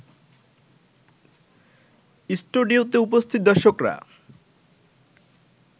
স্টুডিওতে উপস্থিত দর্শকরা